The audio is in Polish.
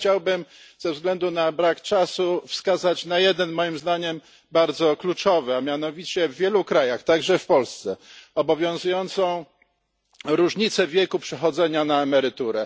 Chciałbym ze względu na brak czasu wskazać na jeden, moim zdaniem, bardzo kluczowy, a mianowicie w wielu krajach, także w Polsce, obowiązuje różnica wieku przechodzenia na emeryturę.